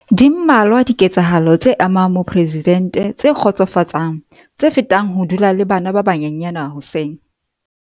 Di mmalwa dike tsahalo tse amang moporesidente tse kgotsofatsang tse fetang ho dula le bana ba banyenyane hoseng.